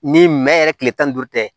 Ni nɛn yɛrɛ kile tan ni duuru tɛ